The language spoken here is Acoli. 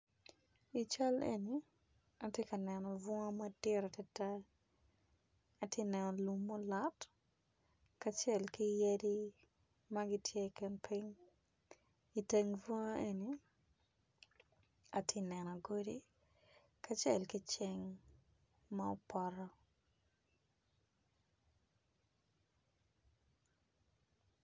I can eni atye ka neno bunga matid adada atye neno lum me olot kacel ki yadi magitye i kin ping iteng bunga eni atye neno godi kacel kiceng ma opoto.